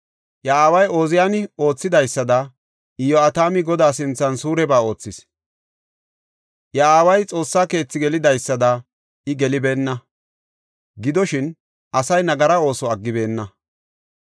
Iya aaway Ooziyani oothidaysada Iyo7atami Godaa sinthan suureba oothis. Iya aaway Xoossa keethi gelidaysada I gelibeenna; gidoshin, asay nagara ooso aggibeenna.